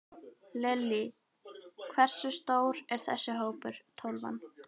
Lillý: Hversu stór er þessi hópur, Tólfan?